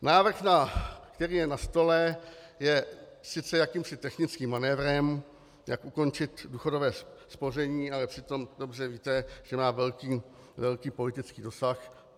Návrh, který je na stole, je sice jakýmsi technickým manévrem, jak ukončit důchodové spoření, ale přitom dobře víte, že má velký politický dosah.